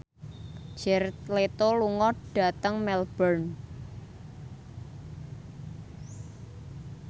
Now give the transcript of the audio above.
Jared Leto lunga dhateng Melbourne